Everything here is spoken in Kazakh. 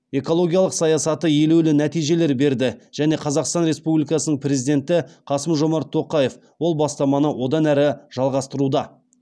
экологиялық саясаты елеулі нәтижелер берді және қазақстан республикасының президенті қасым жомарт тоқаев ол бастаманы одан әрі жалғастыруда